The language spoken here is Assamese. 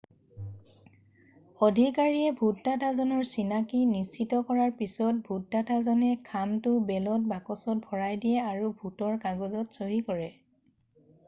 আধিকাৰীয়ে ভোটদাতাজনৰ চিনাকি নিশ্চিত কৰাৰ পিছত ভোটদাতাজনে খামতো বেলত বাকচত ভৰাই দিয়ে আৰু ভোটৰ কাগজত চহী কৰে